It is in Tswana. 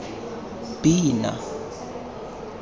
pina